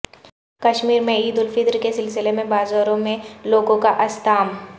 کشمیر میں عید الفطر کے سلسلے میں بازاروں میں لوگوں کا اژدھام